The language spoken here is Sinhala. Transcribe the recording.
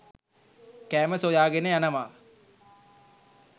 කෑම සොයාගෙන යනවා.